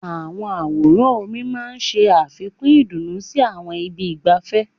Àwọn àwòrán omi máa ń ṣe àfikún ìdùnnú sí àwọn ibi ìgbafẹ́.